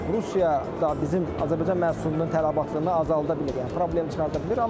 Rusiya da bizim Azərbaycan məhsulunun tələbatını azalda bilir, yəni problem çıxarda bilir.